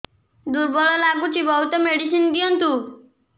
ଦୁର୍ବଳ ଲାଗୁଚି ବହୁତ ମେଡିସିନ ଦିଅନ୍ତୁ